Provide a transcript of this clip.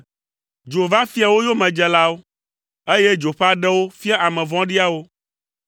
Dzo va fia wo yomedzelawo, eye dzo ƒe aɖewo fia ame vɔ̃ɖiawo.